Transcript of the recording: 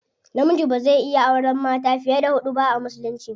Namiji bazai iya auren mata fiye da hudu ba a musulunci.